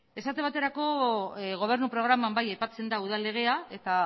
esate baterako gobernu programan bai aipatzen da udal legea eta